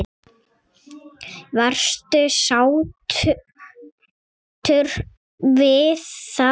Varstu sáttur við það?